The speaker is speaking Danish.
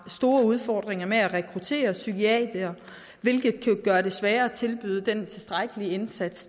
store udfordringer med at rekruttere psykiatere hvilket kan gøre det sværere at tilbyde den tilstrækkelige indsats